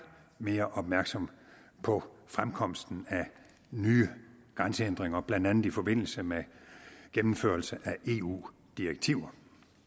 mere opmærksomme på fremkomsten af nye grænsehindringer blandt andet i forbindelse med gennemførelse af eu direktiver